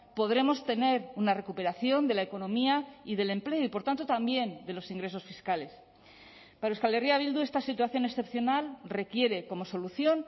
podremos tener una recuperación de la economía y del empleo y por tanto también de los ingresos fiscales para euskal herria bildu esta situación excepcional requiere como solución